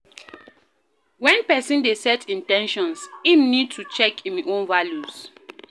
When person dey set in ten tions im need to check im own values